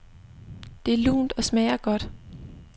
Det er lunt og smager godt.